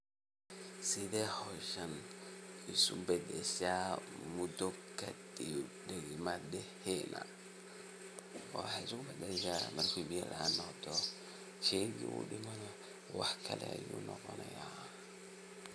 Sethe hooshan isobadashah muda kadib madaheynah, waxa iskubadashah marki biya laan noqotoh sheeyga oo dimanah waxakali ayu noqonah.